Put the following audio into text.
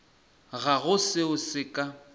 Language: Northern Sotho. ga go seo se ka